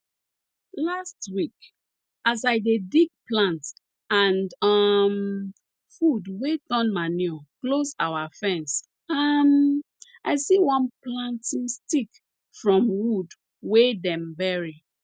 last week as i dey dig plant and um food wey turn manure close our fence um i see one planting stick from wood wey dem bury